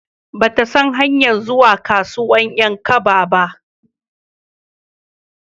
Ba ta san hanyar zuwa kasuwan 'yan kaba ba